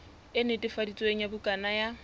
e netefaditsweng ya bukana ya